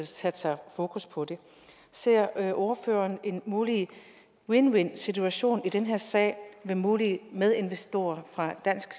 sætter fokus på det ser ordføreren en mulig win win situation i den her sag med mulige medinvestorer fra dansk